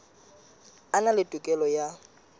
a na le tokelo ya